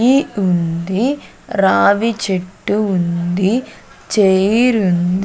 ఇ ఉంది రావి చెట్టు ఉంది ఛైర్ ఉంది.